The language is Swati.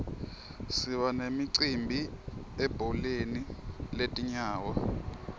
siba nemicimbi ebholeni letinyawo